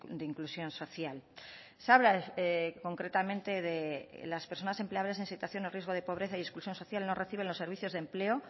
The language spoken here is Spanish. de inclusión social se habla concretamente de las personas empleables en situación o riesgo de pobreza y exclusión social que no reciben los servicios de empleo